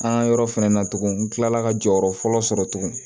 An ka yɔrɔ fɛnɛ na tugun n kilala ka jɔyɔrɔ fɔlɔ sɔrɔ tuguni